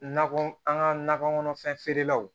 Nakɔ an ka nakɔ kɔnɔfɛn feerelaw